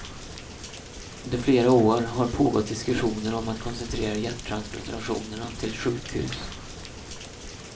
Under flera år har pågått diskussioner om att koncentrera hjärttransplantationerna till ett sjukhus.